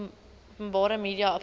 openbare media openbare